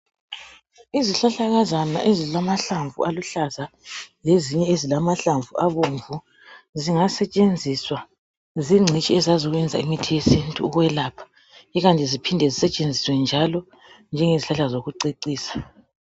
Izihlahlakazana ezilamahlamvu aluhlaza lezinye ezilamahlamvu abomvu zingasetshenziswa zingcitshi ezazi ukwenza imithi yesintu ukwelapha ikanti zisetshenziswe njalo njenge zihlahla zokucecisa .